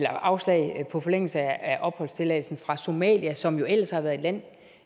afslag på forlængelse af opholdstilladelsen fra somalia som ellers har været et land